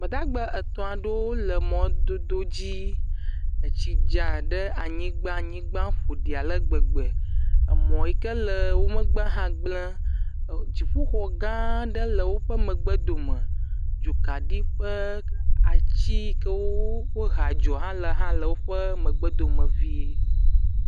Gbadagba etɔ̃ aɖewo wole mɔdodo dzi. Etsi dza ɖe anyigba. Anyigba ƒoɖi ale gbegbe. Emɔ yi ke le wo megbea hã gble. E dziƒoxɔ gã aɖe le woƒe megbedome. Dzokaɖi ƒe atsi yi ke wow o kɔ hea dzo hã le hã le woƒe megbedome vie.